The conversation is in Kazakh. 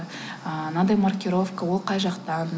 ыыы мынадай маркировка ол қай жақтан